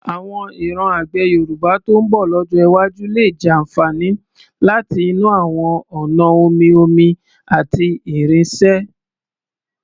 Àwọn ìran àgbẹ̀ Yorùbá tó ń bọ̀ lọ́jọ́ iwájú lè jàfààní láti inú àwọn ọ̀nà omi-omi àti irinṣẹ́.